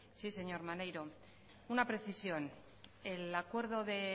sí señor maneiro una precisión el acuerdo de